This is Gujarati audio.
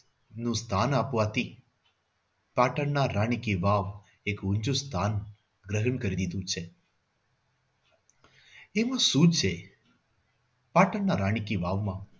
નું સ્થાન આપવાથી પાટણના રાણી કી વાવ એક ઉચ્ચું સ્થાન ગ્રહણ કરી લીધું છે. એવું શું છે પાટણના રાણી કી વાવ માં